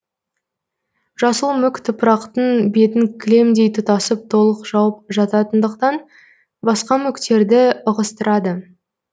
жасыл мүк топырақтың бетін кілемдей тұтасып толық жауып жататындықтан басқа мүктерді ығыстырады